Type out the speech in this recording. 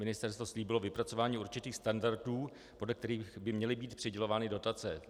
Ministerstvo slíbilo vypracování určitých standardů, podle kterých by měly být přidělovány dotace.